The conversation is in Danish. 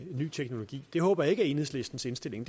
ny teknologi det håber jeg ikke er enhedslistens indstilling